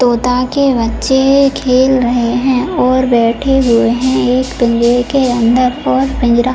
तोता के बच्चे है खेल रहे है और बैठे हुए हैं एक पिंजरे के अंदर और पिंजरा --